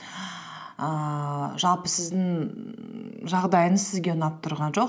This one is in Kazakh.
ііі жалпы сіздің жағдайыңыз сізге ұнап тұрған жоқ